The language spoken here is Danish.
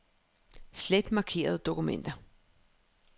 Slet markerede dokumenter.